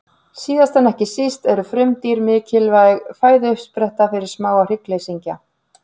Síðast en ekki síst eru frumdýr mikilvæg fæðuuppspretta fyrir smáa hryggleysingja.